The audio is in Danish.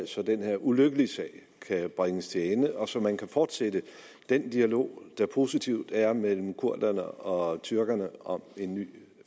så den her ulykkelige sag kan bringes til ende og så man kan fortsætte den dialog der positivt er mellem kurderne og tyrkerne om en ny